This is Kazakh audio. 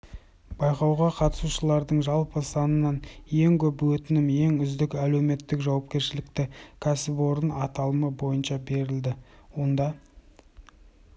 байқауға қатысушылардың жалпы санынан ең көп өтінім ең үздік әлеуметтік жауапкершілікті кәсіпорын аталымы бойынша берілді онда